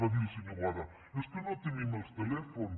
va dir el senyor boada és que no tenim els telèfons